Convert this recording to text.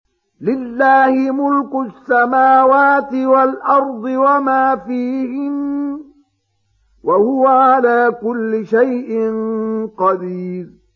لِلَّهِ مُلْكُ السَّمَاوَاتِ وَالْأَرْضِ وَمَا فِيهِنَّ ۚ وَهُوَ عَلَىٰ كُلِّ شَيْءٍ قَدِيرٌ